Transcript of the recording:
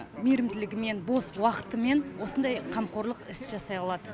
мейірімділігімен бос уақытымен осындай қамқорлық іс жасай алады